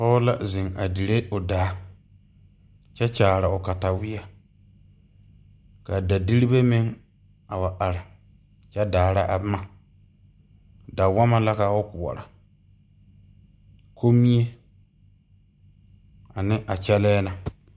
Pɔg la zeng a dirɛ ɔ daa kye kyaare ɔ kataweɛ ka da diribɛ meŋ a wa arɛ kye daara a buma dawama la ka ɔ koɔro konmie ane a kyɛlɛɛ na.